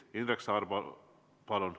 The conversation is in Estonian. Indrek Saar, palun!